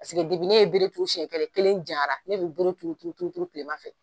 ne ye bere turu siɲɛ kelen, kelen janyara, ne bi bere turu turu turu kilema fɛ.